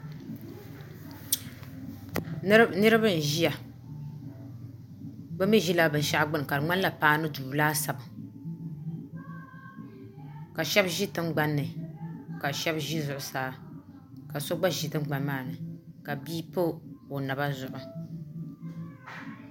niraba n ʒiya bi mii ʒila binshaɣu gbuni ka di ŋmanila paanu duu laasabu ka shab ʒi tingbanni ka shab ʒi zuɣusaa ka so gba ʒi tingbani maa ni ka bia pa o naba zuɣu